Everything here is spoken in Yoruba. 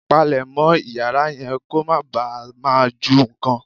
Palemọ́ Ìyàrá yẹn kó má bàa máa ju nǹkan.